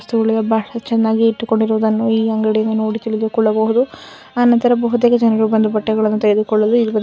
ಈ ಅಂಗಡಿಯಲ್ಲಿ ಬಹಳ ಚನ್ನಾಗಿ ಬಟ್ಟೆ ಇಟ್ಟುಕೊಳ್ಳುವುದ್ದನ್ನು ನೋಡಬಹುದು ಅಂಗಡಿಯ ಮುಂದೆ ಬೈಕ್ಗಳು ಇವೆ.